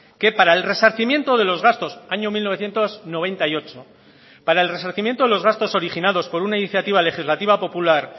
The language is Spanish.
que para el resarcimiento de los gastos año mil novecientos noventa y ocho para el resarcimiento de los gastos originados por una iniciativa legislativa popular